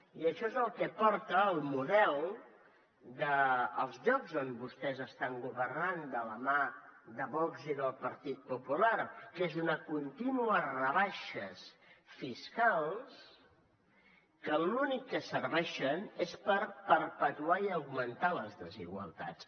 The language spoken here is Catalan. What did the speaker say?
i això és el que porta al model dels llocs on vostès estan governant de la mà de vox i del partit popular que és a unes contínues rebaixes fiscals que per a l’únic que serveixen és per perpetuar i augmentar les desigualtats